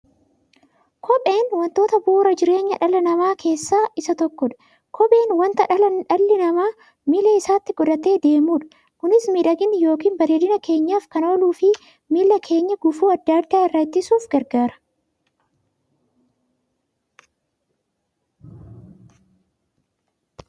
Kopheen wantoota bu'uura jireenya dhala namaa keessaa isa tokkodha. Kopheen wanta dhalli namaa miilla isaatti godhatee deemudha. Kunis miidhagani yookiin bareedina keenyaf kan ooluufi miilla keenya gufuu adda addaa irraa ittisuuf gargaara.